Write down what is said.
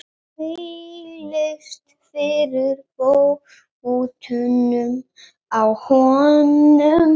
Þvælist fyrir fótunum á honum.